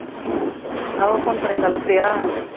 அவள் phone பண்ணியிருந்தாளா பிரியா